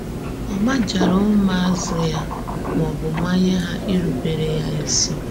Ọ̀ màjàrà ǔmụ̀àzụ́ ya mà ọ bụ̀ mánýe hà írụ̀bèrè ya ísì?